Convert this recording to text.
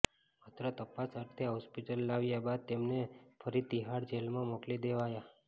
માત્ર તપાસ અર્થે હોસ્પિટલ લાવ્યા બાદ તેમને ફરી તિહાડ જેલમાં મોકલી દેવાયા